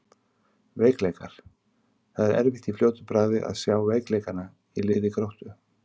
Veikleikar: Það er erfitt í fljótu bragði að sjá veikleikana í liði Gróttu.